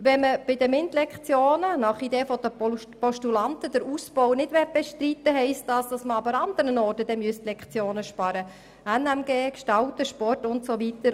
Wenn man bei den MINT-Lektionen nicht abbauen will, heisst das, dass man dafür anderswo Lektionen einsparen müsste, wie etwa im Fach Natur-Mensch-Gesellschaft (NMG), Gestalten, Sport und so weiter.